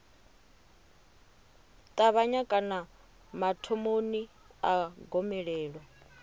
ṱavhanya kana mathomoni a gomelelo